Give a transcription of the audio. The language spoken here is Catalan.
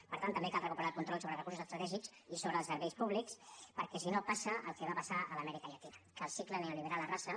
per tant també cal recuperar el control sobre els recursos estratègics i sobre els serveis públics perquè si no passa el que va passar a l’amèrica llatina que el cicle neoliberal arrasa